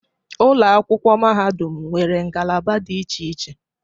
Ụlọ akwụkwọ mahadum nwere ngalaba dị iche iche